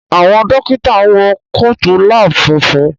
Àwọn Dókítà wọ Kóòtù lab funfun